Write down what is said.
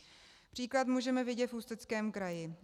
Příklad můžeme vidět v Ústeckém kraji.